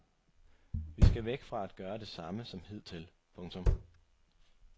Vi skal væk fra at gøre det samme som hidtil. punktum